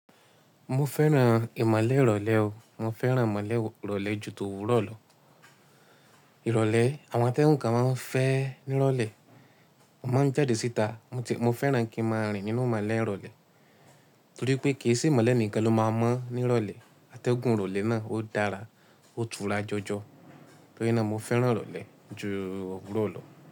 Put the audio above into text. Mo fẹ́ràn ìmọ̀le ìrọ̀lẹ́ o, mo fẹ́ràn ìmọ̀le ìrọ̀lẹ́ ju òwúrọ̀ lọ. Ìrọ̀lẹ́, àwọn ategun kan máa ń fẹ́ ní ìrọ̀lẹ́, mo máa ń jáde síta, mo fẹ́ràn kí n máa rìn nínú ìmọ̀le ìrọ̀lẹ́, torí pé kì í sí ìmọ̀le nìkan lo máa mọ̀ ní ìrọ̀lẹ́, àtẹ́gùn ìrọ̀lẹ́ náà ó dára, ó tura jọjọ. Torí náà mo fẹ́ràn ìrọ̀lẹ́ ju òwúrọ̀ lọ.